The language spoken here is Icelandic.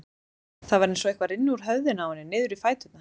Það var eins og eitthvað rynni úr höfðinu á henni niður í fæturna.